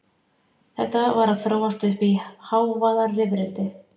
Þetta var að þróast uppí hávaðarifrildi.